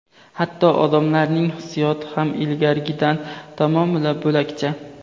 hatto odamlarning hissiyoti ham ilgarigidan tamomila bo‘lakcha.